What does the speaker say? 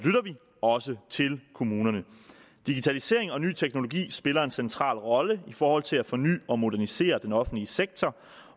også til kommunerne digitalisering og ny teknologi spiller en central rolle i forhold til at forny og modernisere den offentlige sektor